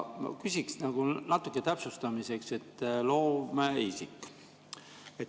Küsiksin natuke täpsustamiseks loomeisiku kohta.